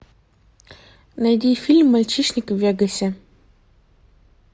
найди фильм мальчишник в вегасе